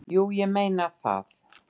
"""Jú, ég er að meina það."""